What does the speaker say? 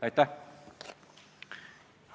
Aitäh!